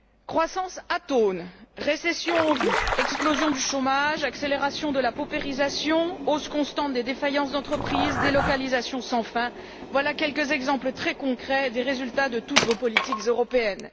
Croissance atone, récession en vue, explosion du chômage, accélération de la paupérisation, hausse constante des défaillances d'entreprises, délocalisations sans fin, voilà quelques exemples très concrets des résultats de toutes vos politiques européennes.